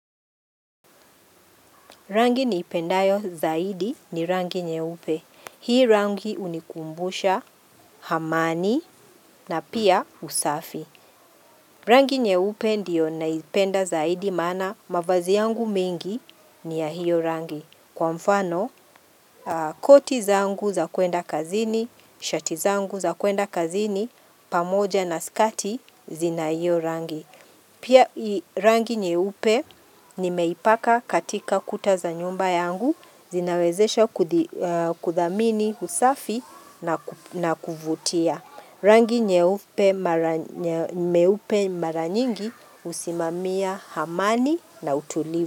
Rangi niipendayo zaidi ni rangi nyeupe. Hii rangi unikumbusha, hamani na pia usafi. Rangi nyeupe ndiyo naipenda zaidi maana mavazi yangu mengi ni ya hiyo rangi. Kwa mfano, koti zangu za kuenda kazini, shati zangu za kuenda kazini, pamoja na skati zina hiyo rangi. Pia rangi nyeupe nimeipaka katika kuta za nyumba yangu zinawezesha kudhamini usafi na kuvutia. Rangi nyeupe mara nyingi husimamia hamani na utuli.